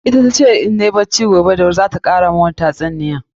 Ita tace mun idan nayi bacci da wuri gobe za ta kara mun wani tatsuniya.